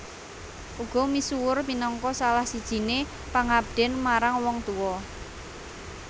Uga misuwur minangka salah sijiné pangabden marang wong tua